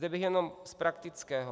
Zde bych jenom z praktického.